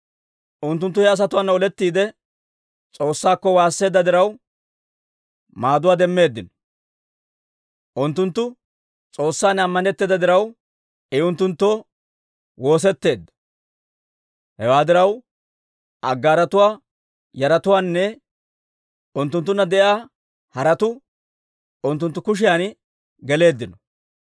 Unttunttu he asatuwaana olettiide, S'oossaakko waasseedda diraw, maaduwaa demmeeddino. Unttunttu S'oossan ammanetteeda diraw, I unttunttoo woosetteedda. Hewaa diraw, Aggaaratuwaa yaratuwaanne unttunttunna de'iyaa haratuu unttunttu kushiyan geleeddino.